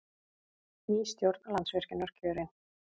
Ný stjórn Landsvirkjunar kjörin